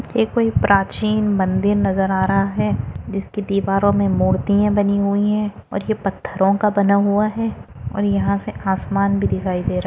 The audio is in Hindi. ये कोई प्राचीन मंदिर नजर आ रहा है जिसकी दीवारों मे मूर्तिए बनी हुई है और ये पत्थरो का बना हुआ है और यहा से आसमान भी दिखाई दे रहा है।